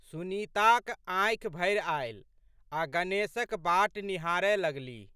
सुनीताक आँखि भरि आयल आ गणेशक बाट निहारए लगलीह।